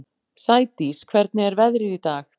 Sædís, hvernig er veðrið í dag?